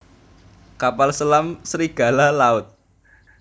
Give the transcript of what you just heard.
Kapal selam Serigala Laut